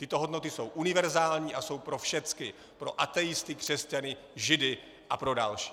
Tyto hodnoty jsou univerzální a jsou pro všechny - pro ateisty, křesťany, židy a pro další.